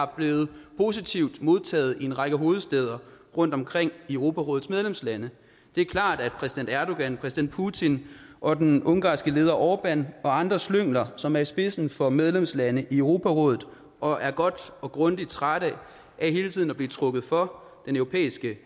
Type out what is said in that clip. blevet positivt modtaget i en række hovedstæder rundtomkring i europarådets medlemslande det er klart at præsident erdogan præsident putin og den ungarske leder orbán og andre slyngler som er i spidsen for medlemslande i europarådet og er godt og grundigt trætte af hele tiden at blive trukket for den europæiske